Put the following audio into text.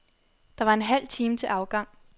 Der var en halv time til afgang.